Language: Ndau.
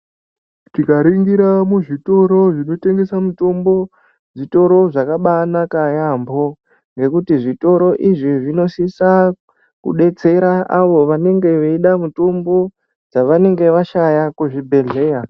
Tikaringira muzvitoro zvinotengesa mitombo, zvitoro zvakabanaka yaambo ngekuti zvitoro izvi zvinosisa kudetsera avo vanenge veida mutombo dzavanenge vashaya kuzvibhedhleya.